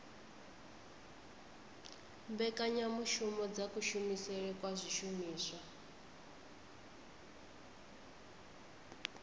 mbekanyamushumo dza kushumisele kwa zwishumiswa